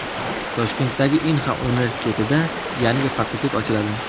Toshkentdagi Inha universitetida yangi fakultet ochiladi.